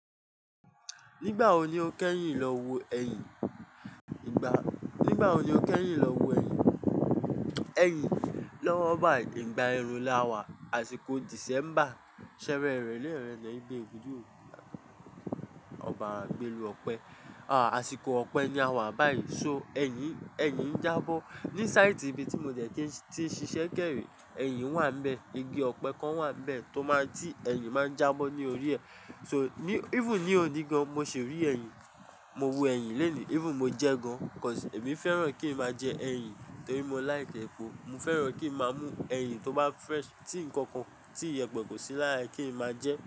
Nígbà wo ni o kẹ́yìn lọ wo ẹyìn? Nígbà wo ni o kẹ́yìn lọ wo ẹyìn? Ẹyìn, lọ́wọ́ bái, ìgbà ẹrùn la wà, àsìkò December, ṣẹẹrẹ ìrẹ̀lẹ̀ erena igbé Ọbara gbẹ́lú Ọpẹ́. À, àsìkò Ọpẹ́ ni a wà báyìí. So ẹyìn, ẹyìn ń jábọ́. Ni sáìtì ibi tí mo de tí ń ṣiṣẹ́ kẹ́ rẹ́, ẹyìn wà nbẹ̀. Igi ọpẹ kàn wà nbẹ̀ tó máa tí ẹyìn máa ń jábọ́ ní orí rẹ̀. So even ní òní gan an, mo ṣì rí ẹyìn. Mo wo ẹyìn leni, even mo jẹ gan an, because èmi fẹ́ràn kí ń máa jẹ ẹyìn torí mo like ẹ̀pọ̀. Mo fẹ́ràn kí ń máa mú ẹyìn tó bá fresh, tí ǹkankan tí ìyẹ̀pẹ̀ kò sí lára e kí ń máa jẹ.